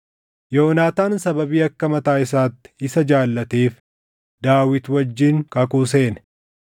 Yoonaataan sababii akka mataa isaatti isa jaallateef Daawit wajjin kakuu seene.